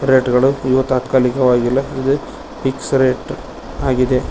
Rate ಗಳು ಇವು ತಾತ್ಕಾಲಿಕವಾಗಿಲ್ಲ ಇದು ಫಿಕ್ಸ ರೇಟ್ ಆಗಿದೆ.